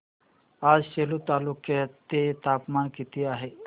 आज सेलू तालुक्या चे तापमान किती आहे